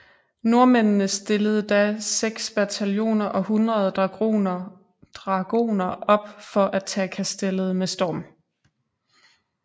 Nordmændene stillede da seks bataljoner og hundrede dragoner op for at tage kastellet med storm